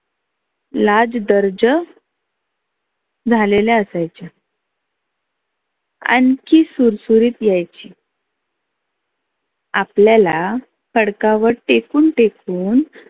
लाज दर्ज झालेल्या असायच्या. आनखी सुर सुरीत यायची आपल्याला खडकावर टेकून टेकून